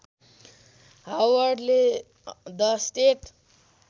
हवर्डले the state